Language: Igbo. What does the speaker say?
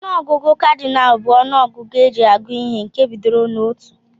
Onụ ọgụgụ Kadinal bu ọnụ ọgụgụ eji agụ ihe nke bidoro na otụ.